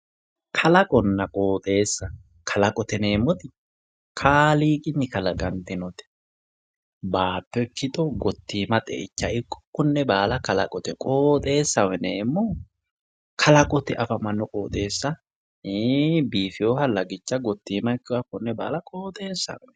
Kalaqonna qoxxeessa, kalaqote yineemmoti kaaliiqinni kalaqantinote baatto ikkitto gottima xeichame ikkitto konne baalla kalaqote, qoxxeessaho yineemmohu kalaqote affamano qoxxeesu ,qoxxeessa biifinoha lagicha gottima ikkinoha konne baalla qoxxeessaho yinnanni.